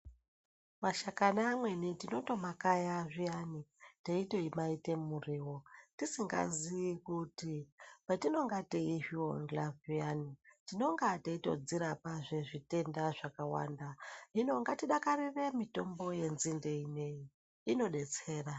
Mashakani amweni tinotomakaya zvee taitomaite muriwo tisingazivi kuti patinenge taitorya payane tinenge taitodzirapazve zvitenda zvakàwanda, hino ngatidakarire mitombo yenzinde yedu inodetsere .